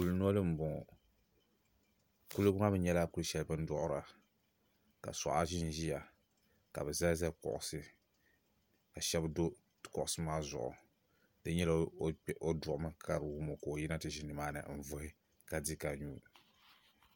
Kuli noli m-bɔŋɔ kuliga maa mi nyɛla kuli shɛli bɛ ni duɣira ka sɔɣa ʒinʒiya ka bɛ zali zali kuɣusi ka shɛba do kuɣusi maa zuɣu di yi nyɛla o duɣimi ka di wum o ka o yina ti ʒini nimaani n-vuhi ka di ka nyu.